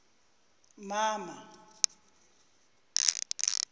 mama